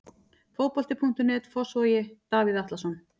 Fótbolti.net, Fossvogi- Davíð Atlason.